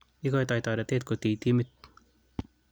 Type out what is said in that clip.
Igoitoi toretet kotiy timit